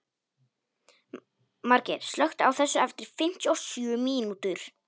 Margeir, slökktu á þessu eftir fimmtíu og sjö mínútur.